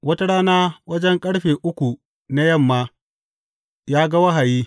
Wata rana wajen ƙarfe uku na yamma ya ga wahayi.